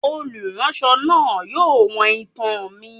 Oluránsọ náá yóò wọ́n itán mí